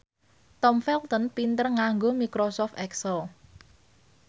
Tom Felton pinter nganggo microsoft excel